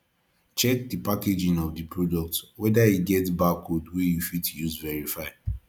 check di packaging of the product whether e get barcode wey you fit use verify